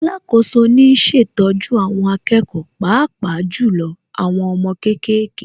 Alákoso ni ń ṣètọ́jú àwọn akẹ́kọ̀ọ́ Pàápàá jù lọ àwọn ọmọ kéékèèké